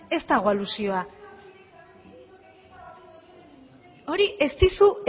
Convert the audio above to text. ez dago alusioa hori ez dizu